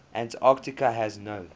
antarctica has no